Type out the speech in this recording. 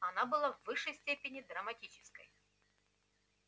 она была в высшей степени драматической